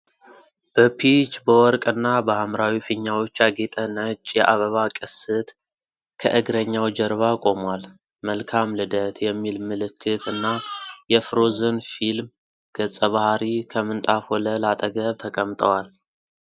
በፒች፣ በወርቅ እና በሐምራዊ ፊኛዎች ያጌጠ ነጭ የአበባ ቅስት ከእግረኛው ጀርባ ቆሟል። 'መልካም ልደት' የሚል ምልክት እና የፍሮዝን ፊልም ገጸ ባህሪ ከምንጣፍ ወለል አጠገብ ተቀምጠዋል።